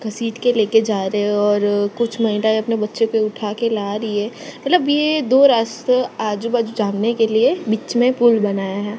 घसीट के लेके जा रहे हो और कुछ महिला अपने बच्चों को उठा के ला रही है मतलब ये दो रास्ता आजू बाजू जानने के लिए बीच में पुल बनाया है।